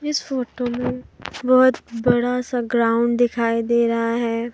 इस फोटो मे बहुत बड़ा सा ग्राउंड दिखाई दे रहा है।